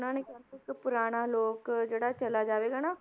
ਇਹਨਾਂ ਨੇ ਕਹਿੰਦੇ ਇੱਕ ਪੁਰਾਣਾ ਲੋਕ ਜਿਹੜਾ ਚਲਾ ਜਾਵੇਗਾ ਨਾ